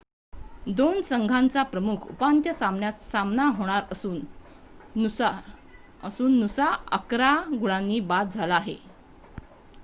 2 संघांचा प्रमुख उपांत्य सामन्यात सामना होणार असून नुसा 11 गुणांनी बाद झाला आहे